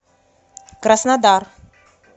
краснодар